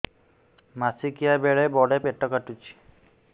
ମାସିକିଆ ବେଳେ ବଡେ ପେଟ କାଟୁଚି